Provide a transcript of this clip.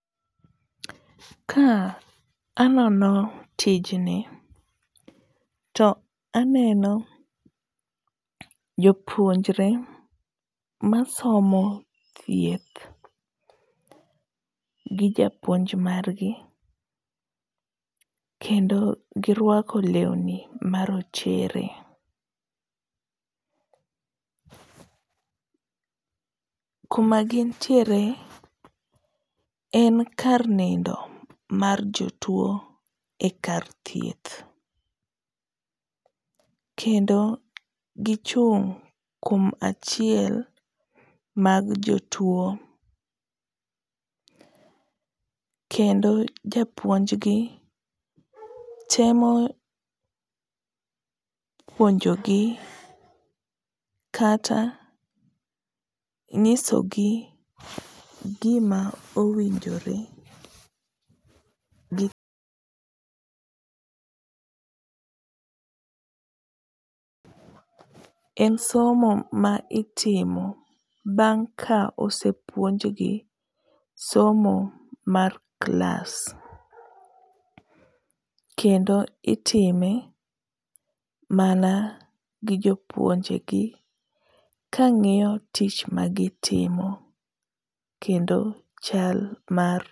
Ka anono tijni, to aneno jopuonjre masomo thieth gi japuonj margi, kendo girwako lewni marochere. Kuma gintiere en kar nindo mar jotuwo e kar thieth, kendo gichung' kuom achiel mag jotuwo ,kendo japuonjgi temo puonjogi kata ng'isogi gima owinjore gitim. En somo ma itimo bang' ka osepuonjgi somo mar klas. Kendo itime mana gi jopuonjegi kang'iyo tich magitimo kendo chal mar.